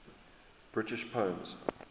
british poems